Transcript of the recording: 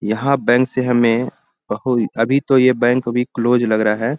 यहाँ बैंक से हमें अभी तो ये बैंक अभी क्लोज लग रहा है।